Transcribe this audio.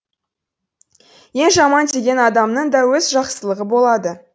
ең жаман деген адамның да өз жақсылығы болады